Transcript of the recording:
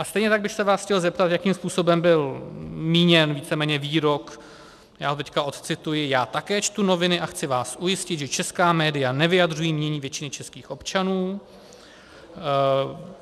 A stejně tak bych se vás chtěl zeptat, jakým způsobem byl míněn víceméně výrok, já ho teď odcituji: "Já také čtu noviny a chci vás ujistit, že česká média nevyjadřují mínění většiny českých občanů.